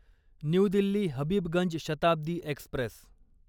new Delhi Habibganj Shatabdi Express